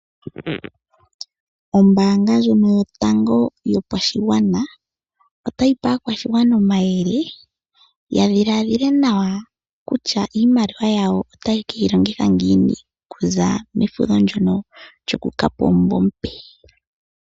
Ombaanga ndjono yotango yopashigwana otayipe aakwashigwana omayele yadhilaadhile nawa kutya iimaliwa yawo tayekeyi longitha ngiini okuza mefudho ndono lyokuza pomunvo omupe.